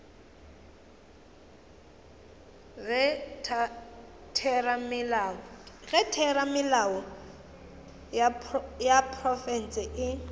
ge theramelao ya profense e